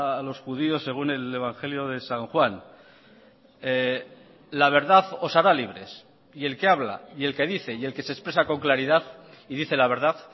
a los judíos según el evangelio de san juan la verdad os hará libres y el que habla y el que dice y el que se expresa con claridad y dice la verdad